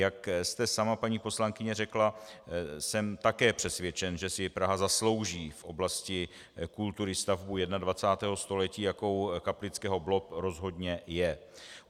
Jak jste sama, paní poslankyně, řekla, jsem také přesvědčen, že si Praha zaslouží v oblasti kultury stavbu 21. století, jakou Kaplického blob rozhodně je.